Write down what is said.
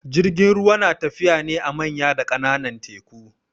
Jirgin ruwa yana tafiya ne a manya da kananan teku